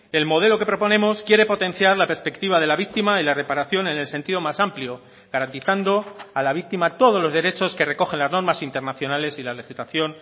el modelo que proponemos quiere potenciar la perspectiva de la víctima y la reparación en el sentido más amplio garantizando a la víctima todos los derechos que recogen las normas internacionales y la legislación